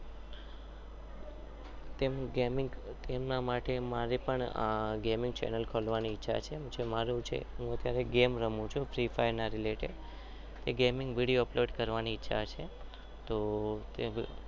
તેમનું ગમિંગ તેમના માટે જોઉં ગમે રમું ચુ.